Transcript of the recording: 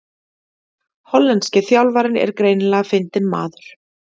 Hollenski þjálfarinn er greinilega fyndinn maður